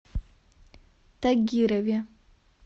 тагирове